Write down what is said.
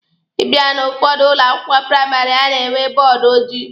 Ị bịa n'ụfọdụ ụlọ akwụkwọ praịmarị, a na-enwe bọọdụ ojii.